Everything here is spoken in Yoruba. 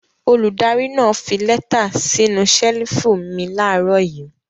Olùdarí náà fi lẹ́tà sínú ṣẹ́lífù mi láàárọ̀ yìí.